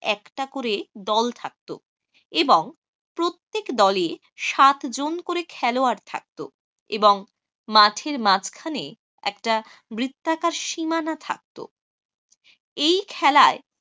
একটা করে দল থাকত এবং প্রত্যেক দলে সাতজন করে খেলোয়াড় থাকতো এবং মাঠের মাঝখানে একটা বৃত্তাকার সীমানা থাকতো এই খেলায়